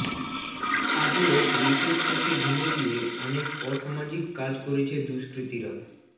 আগেও পুলিশের চোখে ধুলো দিয়ে অনেক অসামাজিক কাজ করেছে দুষ্কৃতীরা